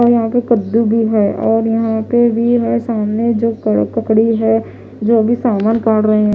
और यहाँ पर कदू भी है और यहाँ पर भी है जो सामने जो ककड़ी है जो सामान काड़ रहे है--